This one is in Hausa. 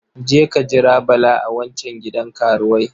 Je ka jira Bala a wancan gidan karuwai.